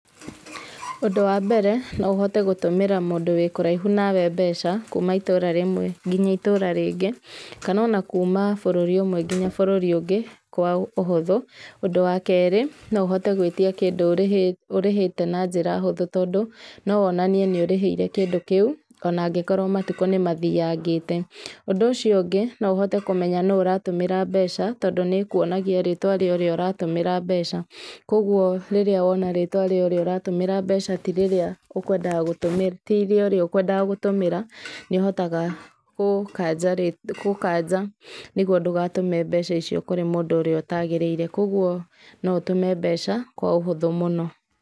Ũndũ wambere no ũhote gũtũmĩra mũndũ wĩ kũraihu nawe mbeca kuma itũra rĩmwe nginya itũra rĩngĩ, kana kuma bũrũri ũmwe nginya bũrũri ũngĩ kwa ũhũthũ. Ũndũ wa kerĩ no ũhote gwĩtia kĩndũ ũrĩhĩte na njĩra hũthũ tondũ no wonanie nĩ ũrĩhĩire kĩndũ kĩu ona angĩkorwo matukũ nĩmathiyangĩte. Ũndũ ũcio ũngĩ no ũhote kũmenya nũ ũratũmĩra mbeca tondũ nĩkuonagia rĩtwa rĩa ũrĩa ũratũmĩra mbeca, koguo rĩrĩa wona rĩtwa rĩa ũrĩa ũratũmĩra mbeca ti rĩorĩa ũkwendaga gũtũmĩra nĩũhotaga gũkanja, nĩguo ndũgatũme mbeca icio kũrĩ mũndũ ũrĩa ũtagĩrĩire, koguo no ũtũme mbeca kwa ũhũthũ mũno.